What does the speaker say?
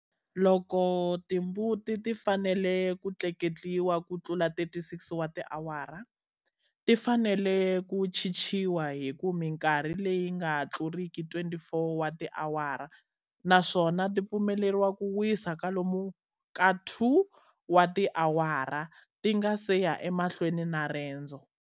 Loko timbuti ti fanele ku tleketliwa ku tlula 36 wa tiawara, ti fanele ku chichiwa hi ku minkarhi leyi nga tluriki 24 wa tiawara naswona ti pfumeleriwa ku wisa kwalomu ka 2 wa tiawara ti nga si ya emahlweni na rendzo.